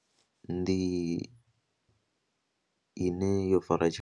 Ndi ine yo fara .